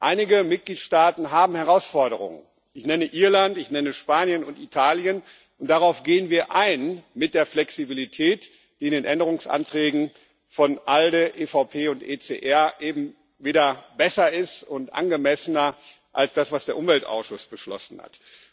Einige Mitgliedstaaten haben Herausforderungen Ich nenne Irland, ich nenne Spanien und Italien, und darauf gehen wir mit der Flexibilität in den Änderungsanträgen von ALDE, EVP und ECR ein, die eben besser und angemessener sind als das, was der Umweltausschuss beschlossen hat.